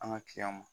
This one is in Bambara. An ka ma